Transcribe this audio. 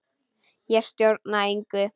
Ég stjórna engu.